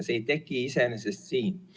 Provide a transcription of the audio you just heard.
Need ei teki iseenesest siin.